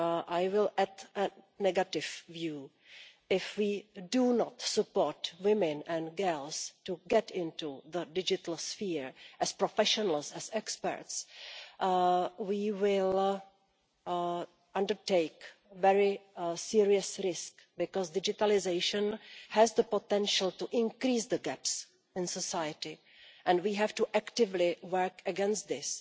I will add a negative view if we do not support women and girls to get into the digital sphere as professionals, as experts, we will undertake a very serious risk because digitalisation has the potential to increase the gaps in society, and we have to actively work against this.